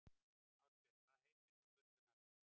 Ásbjörg, hvað heitir þú fullu nafni?